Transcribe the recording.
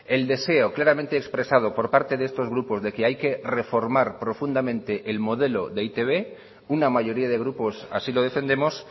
el deseo claramente expresado por parte de estos grupos de que hay que reformar profundamente el modelo de e i te be una mayoría de grupos así lo defendemos